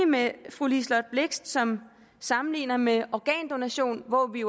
med fru liselott blixt som sammenligner med organdonation hvor vi